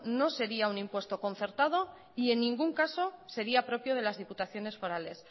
no sería no sería un impuesto concertado y en ningún caso sería propio de las diputaciones forales